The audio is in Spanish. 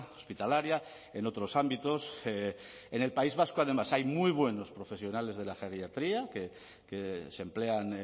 hospitalaria en otros ámbitos en el país vasco además hay muy buenos profesionales de la geriatría que se emplean